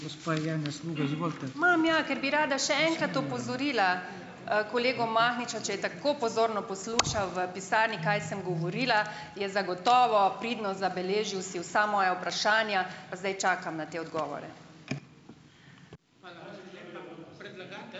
Imam, ja, ker bi rada še enkrat opozorila, kolega Mahniča. Če je tako pozorno poslušal v pisarni, kaj sem govorila, je zagotovo pridno zabeležil si vsa moja vprašanja. Pa zdaj čakam na te odgovore.